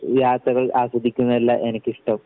യാത്രകൾ ആസ്വദിക്കുന്നതല്ല എനിക്കിഷ്ടം.